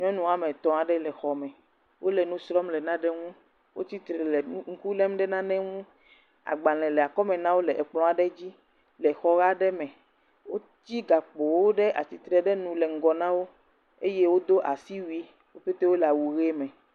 Nyɔnu woame etɔ̃ aɖe le xɔme. Wole nu srɔ̃m le nane ŋu. Wotsi tre le nu, ŋku lém ɖe nane ŋu. Agbalẽ le akɔmena wo le ekplɔ̃ aɖe dzi le xɔ aɖe me. Wotsi gakpowo ɖe atitire ɖe nu le ŋgɔ na wo eye wodo asiui. Wo ƒete wole awu ʋe me.